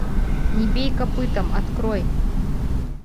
не бей копытом открой